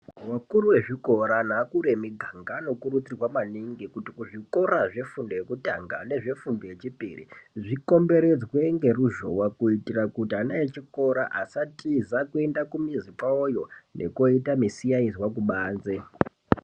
Vakuru vezvikora nevakuru vemiganga vanokurudzirwa maningi kuti kuzvikora zvefundo yekutanga nezvefundo yechipiri zvikomberedzwe ngeruzhova. Kuitira kuti ana achikora asa tiza kuenda kumizi kwavoyo nekoita misiyaizwa kubanze.